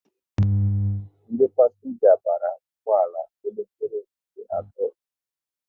Ndị pasenga bara ụgbọala n'elekere nke atọ ehihie